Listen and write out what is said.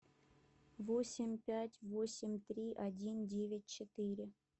восемь пять восемь три один девять четыре